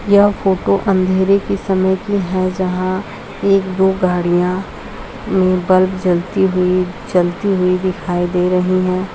यह फोटो अंधेरे के समय की है जहाँ एक-दो गाड़ियाँ में बल्ब जलती हुई जलती हुई दिखाई दे रहीं हैं।